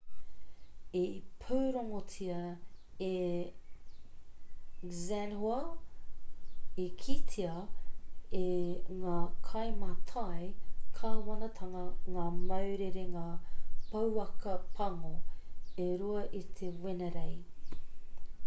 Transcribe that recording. i pūrongotia e xinhua i kitea e ngā kaimātai kāwanatanga ngā mau rerenga pouaka pango e rua i te wenerei